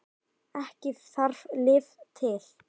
Ekki þarf lyf til.